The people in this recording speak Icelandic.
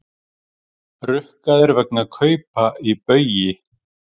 Rukkaðir vegna kaupa í Baugi